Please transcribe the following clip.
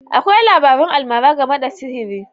Akwai labarun almara game da sihiri.